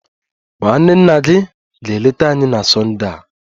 Nwanne nna gị ga-eleta anyị na Sonde a